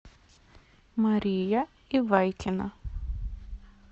мария ивайкина